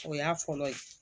O y'a fɔlɔ ye